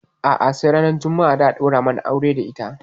A'a sai ran juma'a za a ɗaura mana aure da ita.